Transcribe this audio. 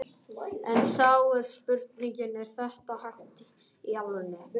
En þá er spurningin, er þetta hægt í alvörunni?